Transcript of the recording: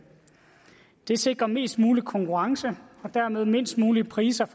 det sikrer mest mulig konkurrence og dermed lavest mulige priser